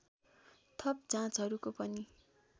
थप जाँचहरूको पनि